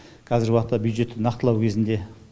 қазіргі уақытта бюджетті нақтылау кезінде